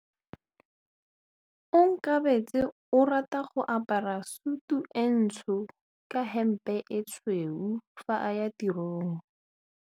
Onkabetse o rata go apara sutu e ntsho ka hempe e tshweu fa a ya tirong.